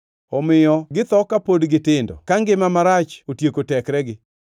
Omiyo githo ka kapod gitindo ka ngima marach otieko tekregi.